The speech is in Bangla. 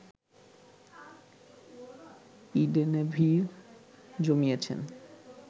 ইডেনে ভিড় জমিয়েছেন